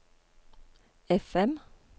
FM